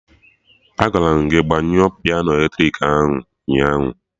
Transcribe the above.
Agwara m gị gbanyụọ piano eletrik ahụ ụnyaahụ